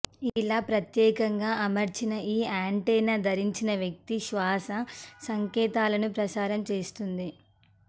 ఇలా ప్రత్యేకంగా అమర్చిన ఈ యాంటెన్నా ధరించిన వ్యక్తి శ్వాస సంకేతాలను ప్రసారం చేస్తుంది